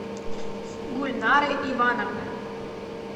гульнары ивановны